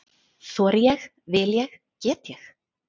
Þori ég- vil ég- get ég?